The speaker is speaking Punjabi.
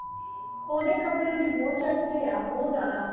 ਉਹਦੇ ਕੱਪੜਿਆਂ ਦੇ ਬਹੁਤ ਚਰਚੇ ਆ, ਬਹੁਤ ਜ਼ਿਆਦਾ